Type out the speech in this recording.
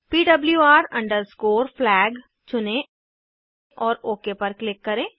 PWR अंडरस्कोरFLAG चुनें और ओक पर क्लिक करें